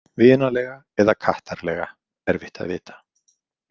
Vinalega eða kattarlega, erfitt að vita.